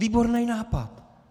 Výbornej nápad!